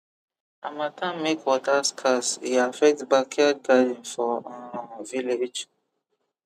harmattan make water scarce e affect backyard garden for um village